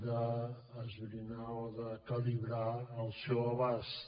d’esbrinar o de calibrar el seu abast